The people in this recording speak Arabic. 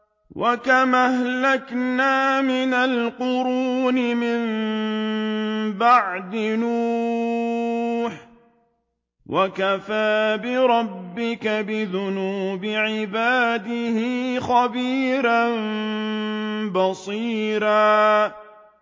وَكَمْ أَهْلَكْنَا مِنَ الْقُرُونِ مِن بَعْدِ نُوحٍ ۗ وَكَفَىٰ بِرَبِّكَ بِذُنُوبِ عِبَادِهِ خَبِيرًا بَصِيرًا